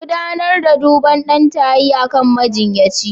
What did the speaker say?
Gudanar da duban ɗan tayi akan majiyyaci.